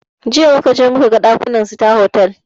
Jiya muka je muka gan ɗakunan sita hotal